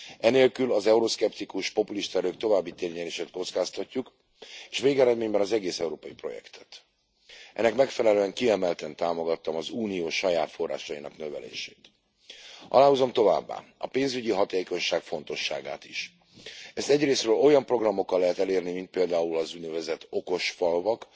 Enélkül az euroszkeptikus polulista erők további térnyerését kockáztatjuk, és végeredményben az egész európai projektet. Ennek megfelelően kiemelten támogattam az Unió saját forrásainak növelését. Aláhúzom továbbá a pénzügyi hatákonyság fontosságát is. Ezt egyrészről olyan programokkal lehet elérni, mint például az úgynevezett okos falvak,